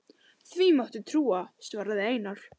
Því máttu trúa, svaraði Einar.